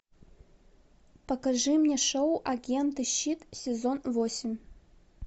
покажи мне шоу агенты щит сезон восемь